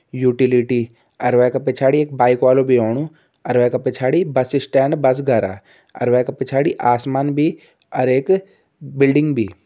Utility अर वै पिछाड़ी एक बाइक वालू भी आणु अर वै का पिछाड़ी बस स्टैंड बस घरह अर वै का पिछाड़ी आसमान भी अर एक बिल्डिंग भी।